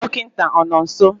dọkịta ọ nọ nso?